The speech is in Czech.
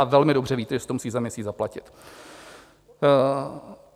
A velmi dobře víte, že se to musí za měsíc zaplatit.